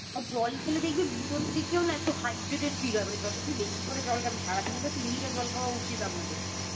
আর জল খেলে দেখবি ভিতর থেকেও না একটু Hydrated feel হয় মানে যত তুই বেশি করে জল খাবি সারাদিনে তো তিন লিটার জল খাওয়া উচিৎ আমাদের